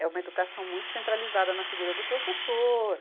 É uma educação muito centralizada na figura do professor.